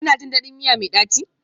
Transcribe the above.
Kuna jin daɗin miya mai ɗaci?